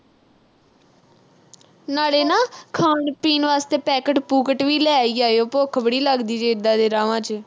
ਨਾਲੇ ਨਾ ਅਹ ਖਾਣ-ਪੀਣ ਵਾਸਤੇ packet ਪੂਕਟ ਵੀ ਲੈ ਈ ਆਇਓ। ਭੁੱਖ ਬੜੀ ਲੱਗਦੀ ਜੇ, ਏਦਾਂ ਦੇ ਰਾਹਵਾਂ ਚ